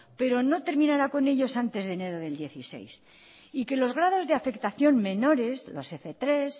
pero no terminará con ellos antes de enero del dieciséis y que los grados de afectación menores los f tres